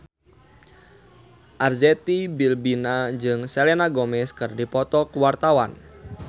Arzetti Bilbina jeung Selena Gomez keur dipoto ku wartawan